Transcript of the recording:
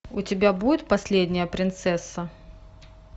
у тебя будет последняя принцесса